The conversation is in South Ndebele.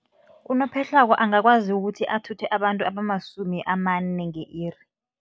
Unophehlwako angakwazi ukuthi athuthe abantu abamasumi amane nge-iri.